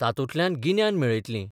तातूंतल्यान गिन्यान मेळयतलीं.